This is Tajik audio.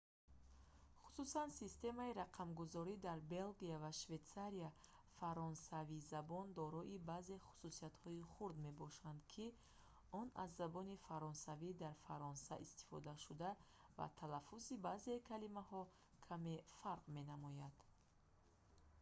хусусан системаи рақамгузорӣ дар белгия ва швейтсарияи фаронсавизабон дорои баъзе хусусиятҳои хурд мебошад ки он аз забони фаронсавии дар фаронса истифодашуда ва талаффузи баъзеи калимаҳо каме фарқ менамояд